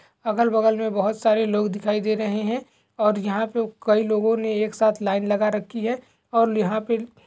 अगल बगल में बहुत सारे लोग दिखाई दे रहे है और यहाँ पे कई लोगो ने एक साथ लाइन लगा रखी है और यहाँ पे--